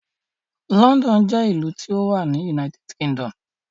London jẹ́ ìlú tí ó wà ní United Kingdom.